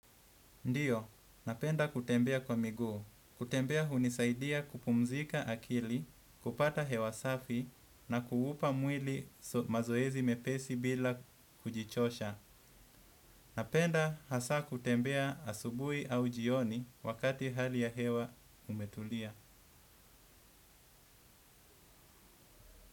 Ndiyo, napenda kutembea kwa miguu. Kutembea hunisaidia kupumzika akili, kupata hewa safi na kuupa mwili mazoezi mepesi bila kujichosha. Napenda hasa kutembea asubuhi au jioni wakati hali ya hewa umetulia.